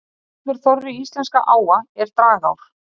Allur þorri íslenskra áa eru dragár.